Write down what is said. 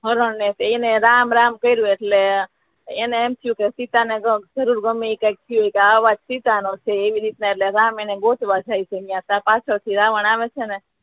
હરણ ને એને રામ રામ કર્યુ એટલે એને એમ થયુ કે સીતા ને કાંઈક થયુ આ અવાજ સીતાનો છે એ રીત ને રામ એને ગોતવા જાય છે એટલે પાછડ થી રાવણ આવે છે ને